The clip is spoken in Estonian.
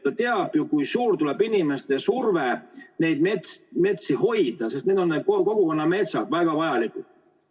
Ta teab, kui suur surve tuleb inimestelt, et neid metsi hoida, sest need on kogukonnametsad, väga vajalikud.